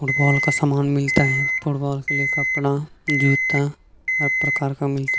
football का सामान मिलता है फुटबॉल के लिए कपड़ा जूता हर प्रकार का मिलता--